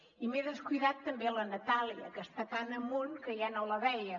i m’he descuidat també la natàlia que està tan amunt que ja no la veia